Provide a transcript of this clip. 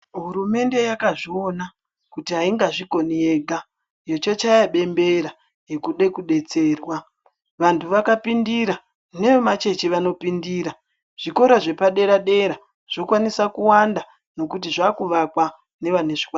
Hurumende yakazviona kuti haingazvikoni yega, yechochaya bembera rekude kudetserwa. Vantu vakapindira nevemachechi vanopindira. Zvikora zvepadera-dera zvokwanisa kuwanda nekuti zvakuvakwa nevane zvikwanisiro.